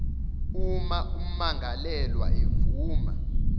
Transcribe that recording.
uma ummangalelwa evuma